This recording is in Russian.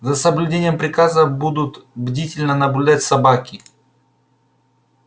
за соблюдением приказа будут бдительно наблюдать собаки